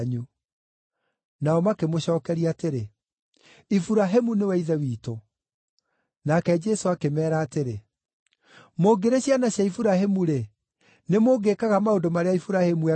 Nao makĩmũcookeria atĩrĩ, “Iburahĩmu nĩwe ithe witũ.” Nake Jesũ akĩmeera atĩrĩ, “Mũngĩrĩ ciana cia Iburahĩmu-rĩ, nĩ mũngĩĩkaga maũndũ marĩa Iburahĩmu eekaga.